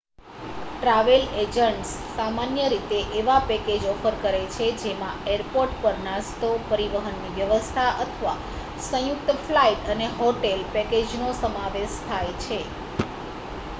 travel agents સામાન્ય રીતે એવા પેકેજ ઑફર કરે છે જેમાં એરપોર્ટ પર નાસ્તો પરિવહનની વ્યવસ્થા અથવા સંયુક્ત ફ્લાઇટ અને હોટેલ પેકેજનો સમાવેશ થાય છે